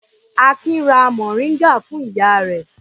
Akin ra mòríngà fún ìyá rẹ̀.